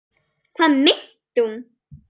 Hvað meinti hún?